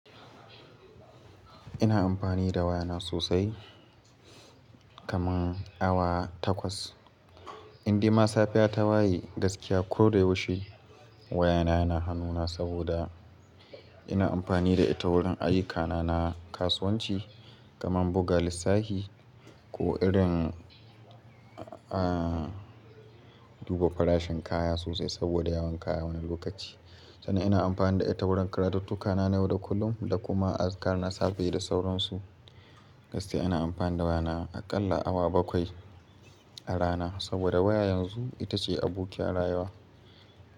Ina amfani da waya na sosai. Kaman awa takwas. Indai ma safiya ta waye gaskiya ko da yaushe wayana yana hanuna saboda ina amfani da ita wurin ayyuka na na kasuwanci kaman buga lissafi ko irin, duba farashin kaya sosai saboda yawan kaya wani lokaci. Sannan ina amfani da ita wurin karatuttuka na na yau da kullum da kuma azkar na safe da sauransu. Gaskiya ina amfani da wayana a ƙalla awa bakwai. A rana saboda waya yanzu ita ce abokiyar rayuwa.